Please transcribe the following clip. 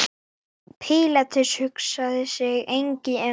Pílatus hugsaði sig lengi um.